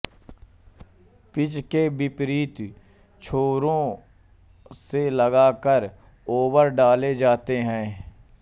pitch के विपरीत छोरों से लगातार ओवर डाले जाते हैं